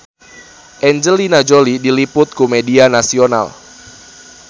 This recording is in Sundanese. Angelina Jolie diliput ku media nasional